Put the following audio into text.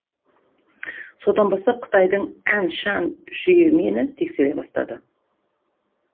содан бастап қытайдың ән чән жүйі мені тексере бастады